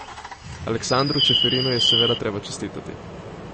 Aleksandru Čeferinu je seveda treba čestitati.